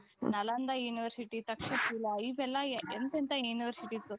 Nalanda university, ತಕ್ಷಕುಲ ಇವೆಲ್ಲಾ ಎಂತೆಂಥ universities